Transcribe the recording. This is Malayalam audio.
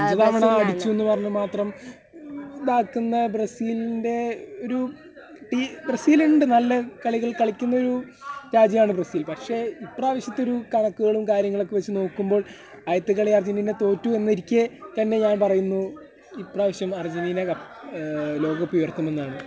അഞ്ചു തവണ അടിച്ചു എന്ന് പറഞ്ഞു മാത്രം ഇതാക്കുന്ന ബ്രസീലിൻ്റെ ഒരു ടീ... ബ്രസീലുണ്ട് നല്ല കളികൾ കളിക്കുന്ന ഒരു രാജ്യമാണ് ബ്രസീൽ . പക്ഷേ , ഇപ്രാവശ്യത്തെ ഒരു കണക്കുകളും കാര്യങ്ങളുമൊക്കെ വെച്ച് നോക്കുമ്പോൾ ആദ്യത്തെ കാളി അർജെൻറ്റീന തോറ്റു എന്നിരിക്കെ തന്നെ ഞാൻ പറയുന്നു, ഇപ്രാവശ്യം അർജെൻറ്റീന കപ്പ്.., മ്മ്.... ലോകകപ്പുയർത്തുമെന്നാണ് .